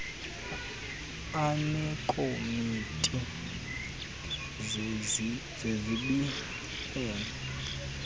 aneekomiti zezib heno